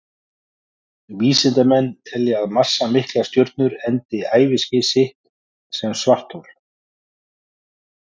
Vísindamenn telja að massamiklar stjörnur endi æviskeið sitt sem svarthol.